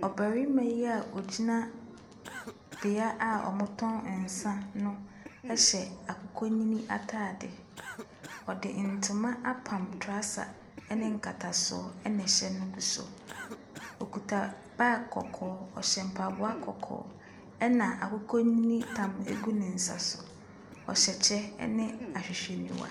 Ɔbarima yio a ɔgyina beaeɛ a wɔtɔn nsa no hyɛ akokɔnini atadeɛ. Ɔde ntoma apan trɔsa ne nkatasoɔ ɛna ɛhyɛ no gu so. Ɔkuta bag kɔkɔɔ, ɔhyɛ mpaboa kɔkɔɔ, ɛna akokɔnini tam gu ne nsa no. Ɔhyɛ kyɛ ne ahwehwɛniwa.